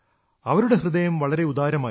അവരുടെ ഹൃദയം വളരെ ഉദാരമായിരുന്നു